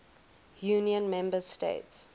union member states